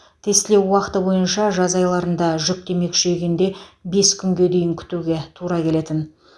тестілеу уақыты бойынша жаз айларында жүктеме күшейгенде бес күнге дейін күтуге тура келетін